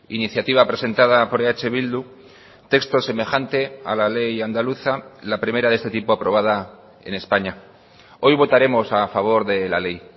iniciativa presentada por eh bildu texto semejante a la ley andaluza la primera de este tipo aprobada en españa hoy votaremos a favor de la ley